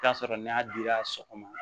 Taa sɔrɔ n'a dira sɔgɔma